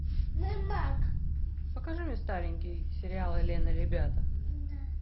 покажи мне старенький сериал элен и ребята